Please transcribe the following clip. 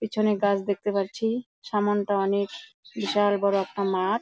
পিছনে গাছ দেখতে পারছি | সামানটা অনেক বিশাল বড়ো একটা মাঠ |